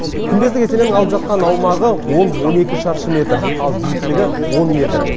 күмбезді кесененің алып жатқан аумағы он он екі шаршы метр ал биіктігі он метр